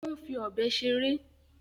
Ó ń fi ọ̀bẹ ṣeré.